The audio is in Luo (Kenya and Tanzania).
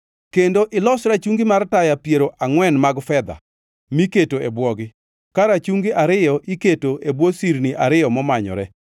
kendo ilos rachungi mar taya piero angʼwen mag fedha miketo e bwogi, ka rachungi ariyo iketo e bwo sirni ariyo momanyore.